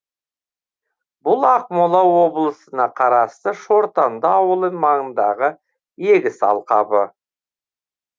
бұл ақмола облысына қарасты шортанды ауылы маңындағы егіс алқабы